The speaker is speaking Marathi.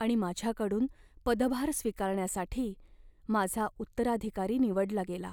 आणि माझ्याकडून पदभार स्वीकारण्यासाठी माझा उत्तराधिकारी निवडला गेला.